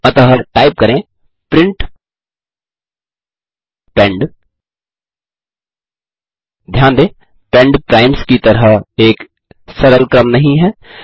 अतः टाइप करें प्रिंट पेंड ध्यान दें पेंड प्राइम्स की तरह एक सरल क्रम नहीं है